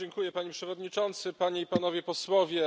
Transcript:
Panie Przewodniczący, Panie i Panowie Posłowie!